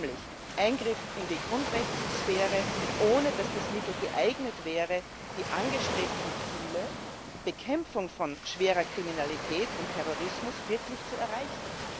Nämlich Eingriff in die Grundrechtssphäre, ohne dass das Mittel geeignet wäre, die angestrebten Ziele Bekämpfung von schwerer Kriminalität und Terrorismus wirklich zu erreichen.